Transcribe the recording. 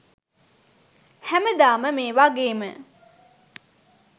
හැමදාම මේ වගේම